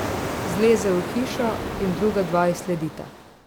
Zleze v hišo in druga dva ji sledita.